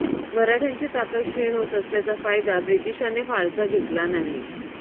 मराठ्यांची ताकद क्षीण होत असल्याचा फायदा ब्रिटिशांनी फारसा घेतला नाही